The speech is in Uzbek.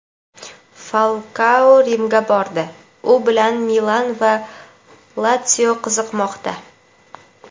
Falkao Rimga bordi – u bilan "Milan" va "Latsio" qiziqmoqda.